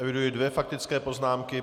Eviduji dvě faktické poznámky.